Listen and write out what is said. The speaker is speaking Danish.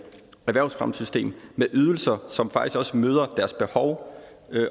erhvervsfremmesystem med ydelser som faktisk også møder deres behov